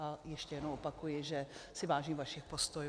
A ještě jednou opakuji, že si vážím vašich postojů.